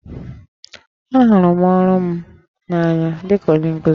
Ahụrụ m ọrụ m n'anya dị ka onye nkuzi